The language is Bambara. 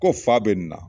Ko fa bɛ nin na